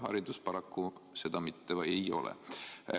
Haridus paraku seda ei ole.